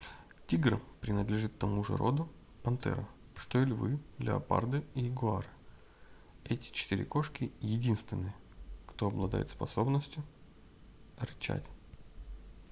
тигр принадлежит к тому же роду пантеры что и львы леопарды и ягуары. эти четыре кошки — единственные кто обладает способностью рычать